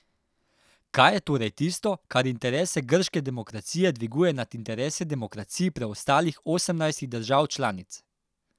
Kaj je torej tisto, kar interese grške demokracije dviguje nad interese demokracij preostalih osemnajstih držav članic?